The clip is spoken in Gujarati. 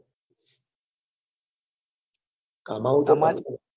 કમાવવું